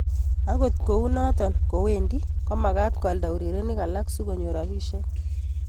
Agot kounoto kowendi komakat kolda urerenik alak so konyor rabisiek.